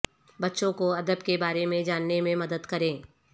بچوں کو ادب کے بارے میں جاننے میں مدد کریں